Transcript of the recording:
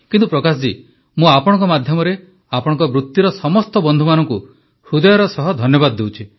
କିନ୍ତୁ ପ୍ରକାଶ ଜୀ ମୁଁ ଆପଣଙ୍କ ମାଧ୍ୟମରେ ଆପଣଙ୍କ ବୃତ୍ତିର ସମସ୍ତ ବନ୍ଧୁମାନଙ୍କୁ ହୃଦୟର ସହ ଧନ୍ୟବାଦ ଦେଉଛି